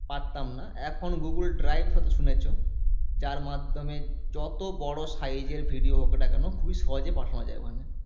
পারতাম না এখন google drive হয় তো শুনেছ যার মাধ্যমে যত বড়ো size এর video হোক না কেনো খুবই সহজে পাঠানো যায় ওখানে